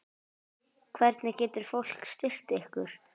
Hvernig getur fólk styrkt ykkur?